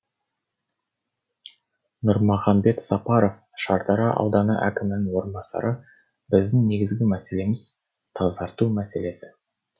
нұрмахамбет сапаров шардара ауданы әкімінің орынбасары біздің негізгі мәселеміз тазарту мәселесі